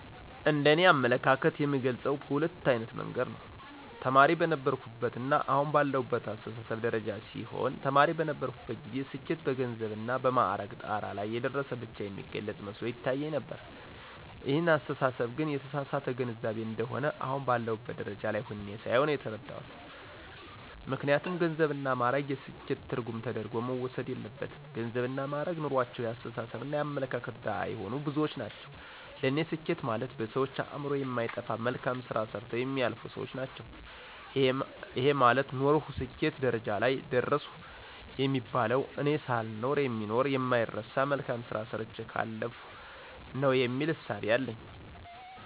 እንደ እኔ አመለካከት የምገልጸው በሁለት አይነት መንገድ ነው። ተማሪ በነበርሁበትና አሁን ባለሁበት አስተሳሰብ ደረጃ ሲሆን ተማሪ በነበርሁበት ጊዜ ስኬት በገንዘብና በማዕረግ ጣራ ላይ የደረሰ ብቻ የሚገልፅ መስሎ ይታየኝ ነበር ይህን አስተሳሰብ ግን የተሳሳተ ግንዛቤ እንደሆነ አሁን ባለሁበት ደረጃ ላይ ሁኘ ሳየው ነው የተረዳሁት። ምክንያቱም ገንዘብና ማእረግ የስኬት ትርጉም ተደርጎ መወሰድ የለበትም ገንዘብና ማእረግ ኑሮአቸው የአስተሳሰብና የአመለካከት ድሀ የሆኑ ብዙዎች ናቸው ለኔ ስኬት ማለት በሰዎች አእምሮ የማይጠፋ መልካም ስራ ሰርተው የሚያልፉ ሰዎች ናቸው። ይሄ ማለት ኖርሁ ስኬት ደረጃ ላይ ደረሰሁ የሚባለው እኔ ሳልኖር የሚኖር የማይረሳ መልካም ስራ ሰርቸ ካለፍሁ ነው የሚል እሳቤ አለኝ።